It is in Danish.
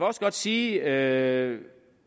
også godt sige at